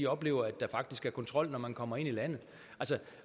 oplevet at der faktisk er kontrol når man kommer ind i landet